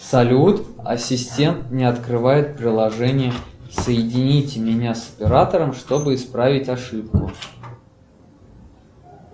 салют ассистент не открывает приложение соедините меня с оператором чтобы исправить ошибку